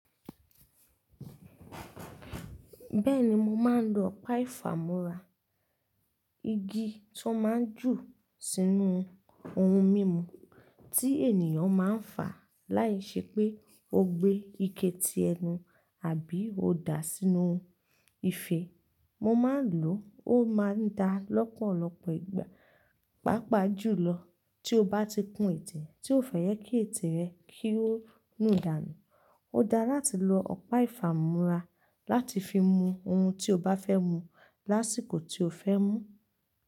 Bẹ́ẹ̀ni mo máa ń lo Ọ̀pá ìfàmú́ra. Igi tó máa ń jù sínú ohun mímu tí ènìyàn máa ń fà láìṣẹ́ pé ó gbé ike tí ẹnu àbí ó dà á sínú ife. Mo máa ń lò ó, ó máa ń dá lọ́pọ̀lọpọ̀ ìgbà. Pápá jù lọ tí o bá ti kún ètè tí o fẹ́ yẹ kí ètè rẹ kí ó mi ìdàànu. Ó dára láti lo Ọ̀pá ìfàmú́ra láti fi mú ohun tí o bá fẹ́ mu lásìkò tí o fẹ́ mú.